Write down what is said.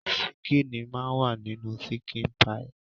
Ṣíkíínì máa ń wà nínú ṣíkìn paì